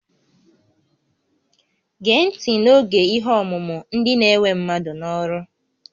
Gee ntị n'oge ihe ọmụmụ, ndị na-ewe mmadụ n'ọrụ!